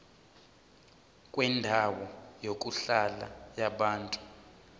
kwendawo yokuhlala yabantu